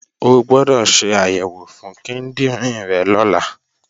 O gbọdọ̀ ṣe àyẹ̀wò fún kíndìnrín rẹ̀ lọ́la!